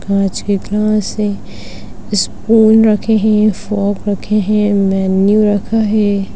कांच के ग्लास है इसपुन रखे है फॉग रखे है मेनू रखा है।